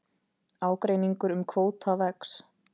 Ágreiningur um kvóta vex